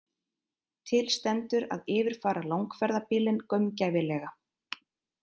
Til stendur að yfirfara langferðabílinn gaumgæfilega